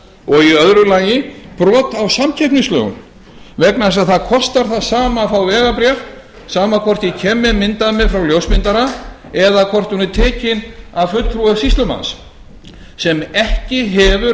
og í öðru lagi brot á samkeppnislögum vegna þess að að kostar að sama að fá vegabréf sama hvort ég kem með mynd af mér frá ljósmyndara eða hvort hún er tekin af fulltrðuum sýslumanns sem ekki hefur